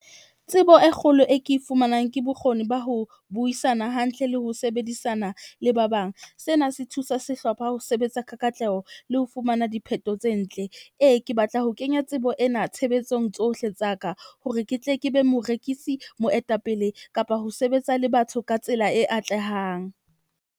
Tsebo e kgolo e ke e fumanang ke bokgoni ba ho buisana hantle le ho sebedisana le ba bang. Sena se thusa sehlopha, ho sebetsa ka katleho le ho fumana dipheto tse ntle. Ee, ke batla ho kenya tsebo ena tshebetsong tsohle tsa ka hore ke tle ke be morekisi, moetapele kapa ho sebetsa le batho ka tsela e atlehang.